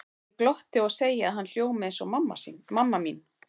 Ég glotti og segi að hann hljómi eins og mamma mín.